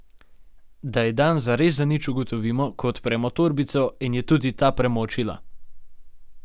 Da je dan zares zanič, ugotovimo, ko odpremo torbico in je tudi ta premočila.